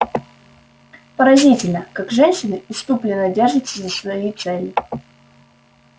поразительно как женщины исступлённо держатся за свои цели